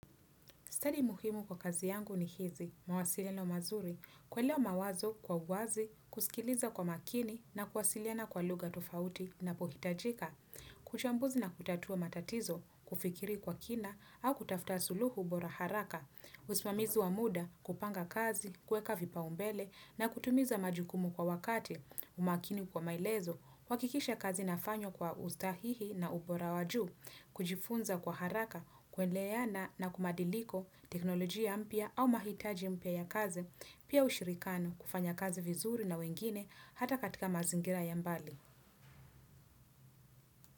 Study muhimu kwa kazi yangu ni hizi, mawasiliano mazuri, kuelewa mawazo kwa uwazi, kusikiliza kwa makini na kuwasiliana kwa lugha tofauti napohitajika. Uchambuzi na kutatua matatizo, kufikiri kwa kina au kutafta suluhu bora haraka. Usimamizi wa muda kupanga kazi, kuweka vipaumbele na kutimiza majukumu kwa wakati. Umakini kwa maelezo, kuhakikisha kazi inafanywa kwa ustahihi na upora wa juu, kujifunza kwa haraka, kuenleana na kumadiliko teknolojia mpya au mahitaji mpya ya kazi, pia ushirikano kufanya kazi vizuri na wengine hata katika mazingira ya mbali.